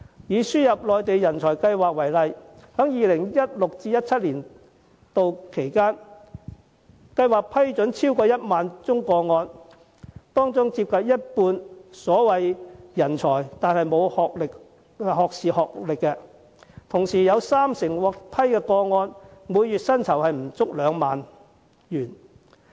以輸入內地人才計劃為例，在 2016-2017 年度，有超過1萬宗個案獲批，當中接近一半的所謂人才並無學士學歷，而其中三成獲批來港者的月薪不足2萬元。